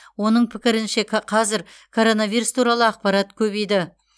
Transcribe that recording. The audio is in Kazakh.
оның пікірінше қазір коронавирус туралы ақпарат көбейді